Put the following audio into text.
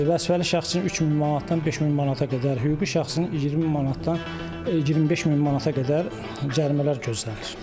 Vəzifəli şəxs üçün 3000 manatdan 5000 manata qədər, hüquqi şəxs üçün 20000 manatdan 25000 manata qədər cərimələr gözlənilir.